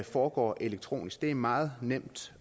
foregår elektronisk det er meget nemt